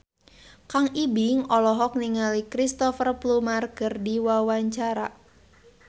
Kang Ibing olohok ningali Cristhoper Plumer keur diwawancara